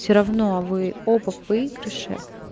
все равно вы оба в выигрыши